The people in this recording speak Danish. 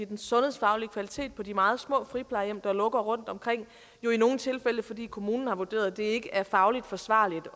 den sundhedsfaglige kvalitet på de meget små friplejehjem der lukker rundtomkring det jo i nogle tilfælde fordi kommunen har vurderet at det ikke er faglig forsvarligt